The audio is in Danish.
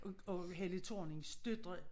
Og og Helle Thornings døtre